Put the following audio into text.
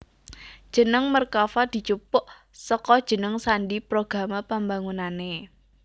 Jeneng Merkava dijupuk saka jeneng sandhi programa pambangunané